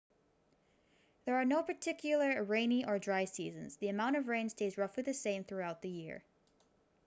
there are no particular rainy and dry seasons the amount of rain stays roughly the same throughout the year